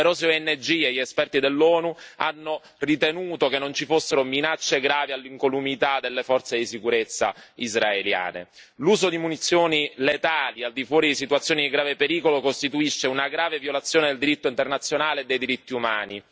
Numerose ONG e gli esperti dell'ONU hanno ritenuto che non ci fossero minacce gravi all'incolumità delle forze di sicurezza israeliane l'uso di munizioni letali al di fuori di situazioni di grave pericolo costituisce una grave violazione del diritto internazionale e dei diritti umani.